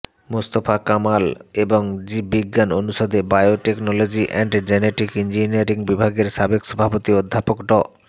মোস্তফা কামাল এবং জীব বিজ্ঞান অনুষদে বায়োটেকনোলজি অ্যান্ড জেনেটিক ইঞ্জিনিয়ারিং বিভাগের সাবেক সভাপতি অধ্যাপক ড